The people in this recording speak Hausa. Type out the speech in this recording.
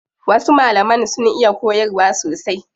Wasu malaman sun iya koyarwa sosai.